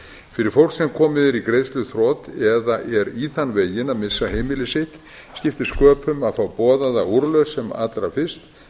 fyrir fólk sem komið er í greiðsluþrot eða er í þann veginn að missa heimili sitt skiptir sköpum að fá boðaða úrlausn sem allra fyrst